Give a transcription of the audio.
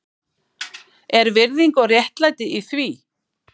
Er virðing og réttlæti í því